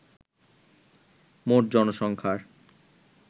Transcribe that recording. মোট জনসংখ্যার